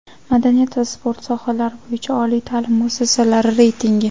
madaniyat va sport sohalari bo‘yicha oliy taʼlim muassasalari reytingi.